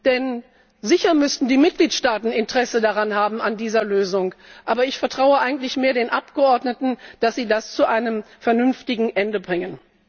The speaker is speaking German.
denn sicher müssten die Mitgliedstaaten Interesse an dieser Lösung haben, aber ich vertraue eigentlich mehr den Abgeordneten, dass sie das zu einem vernünftigen Ende bringen.